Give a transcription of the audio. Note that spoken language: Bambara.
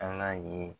Ala ye